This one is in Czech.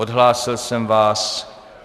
Odhlásil jsem vás.